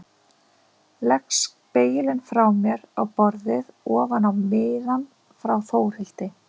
Legg spegilinn frá mér á borðið ofan á miðann frá Þórhildi.